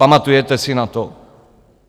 Pamatujete si na to?